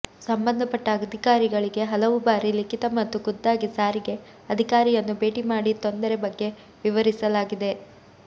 ಸಂಬಂಧಪಟ್ಟ ಅಧಿಕಾರಿಗಳಿಗೆ ಹಲವು ಬಾರಿ ಲಿಖಿತ ಮತ್ತು ಖುದ್ದಾಗಿ ಸಾರಿಗೆ ಅಧಿಕಾರಿಯನ್ನು ಭೇಟಿ ಮಾಡಿ ತೊಂದರೆ ಬಗ್ಗೆ ವಿವರಿಸಲಾಗಿದೆ